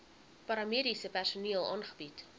paramediese personeel aangebied